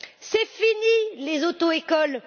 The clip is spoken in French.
C'est fini, les auto écoles!